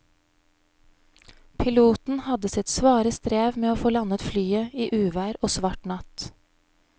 Piloten hadde sitt svare strev med å få landet flyet i uvær og svart natt.